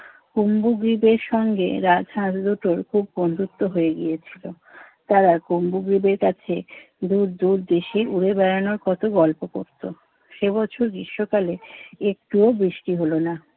কুম্ভগ্রিতের সঙ্গে রাজহাঁস দুটোর খুব বন্ধুত্ব হয়ে গিয়েছিল। তারা কুম্ভগ্রিতের কাছে দুর দুর দেশে উড়ে বেড়ানোর কত গল্প করত। সে বছর গ্রীষ্মকালে একটুও বৃষ্টি হলো না।